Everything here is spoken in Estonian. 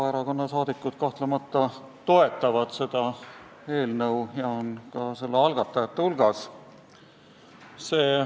Vabaerakonna fraktsiooni liikmed kahtlemata toetavad seda eelnõu ja on ka selle algatajate hulgas.